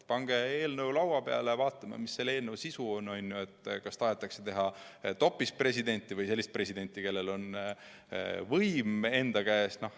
Pange eelnõu laua peale ja siis vaatame, mis selle eelnõu sisu on: kas tahetakse teha topispresidenti või sellist presidenti, kellel on võim enda käes.